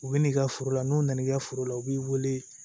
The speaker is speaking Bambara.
U bɛ n'i ka foro la n'u nana i ka foro la u b'i wele